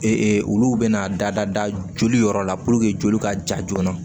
olu bɛna da joli yɔrɔ la purke joli ka ja joona